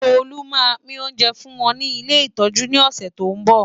Tolú máa pín oúnjẹ fún wọn ní ilé ìtọ́jú ní ọ̀sẹ̀ tó ń bọ̀.